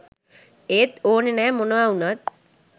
ඒත් ඕනෙත් නෑ මොනා වුනත්